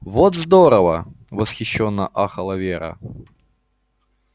вот здорово восхищённо ахала вера